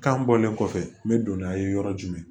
Kan bɔlen kɔfɛ n bɛ don n'a ye yɔrɔ jumɛn